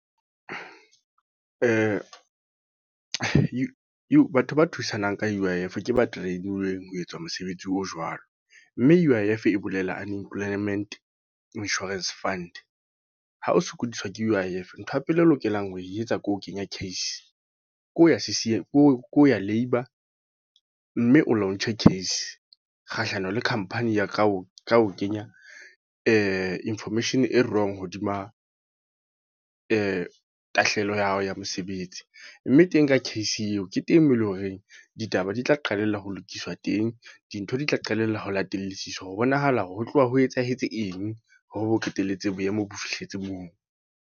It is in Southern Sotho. Batho ba thusanang ka U_I_F, ke ba train-uweng ho etsa mosebetsi o jwalo. Mme U_I_F e bolela Unemployment Insurance Fund. Ha o sokodiswa ke U_I_F, ntho ya pele o lokelang ho e etsa ke ho kenya case. Ke ho ya C_C_M, ke ho ya Labour. Mme o launch-e case, kgahlano le company ya ka o kenya information e wrong hodima tahlehelo ya hao ya mosebetsi. Mme teng ka case eo ke teng moo eleng horeng ditaba di tla qalella ho lokiswa teng. Dintho di tla qalella ho latellisisa ho bonahala hore ho tloha ho etsahetse eng hore bo qetelletse boemo bo fihletse moo.